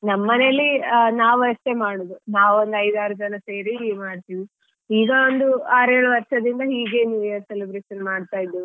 ನಮ್ಮನೆಯಲ್ಲಿ ನಾವಷ್ಟೇ ಮಾಡುದು ನಾವೊಂದು ಐದು ಆರು ಜನ ಸೇರಿ ಮಾಡ್ತಿವಿ. ಈಗ ಒಂದು ಆರು ಏಳು ವರ್ಷದಿಂದ ಹೀಗೆ New Year celebration ಮಾಡ್ತಿದ್ವಿ.